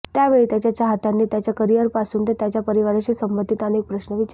त्यावेळी त्याच्या चाहत्यांनी त्याच्या करिअरपासून ते त्याच्या परिवाराशी संबंधीत अनेक प्रश्न विचारले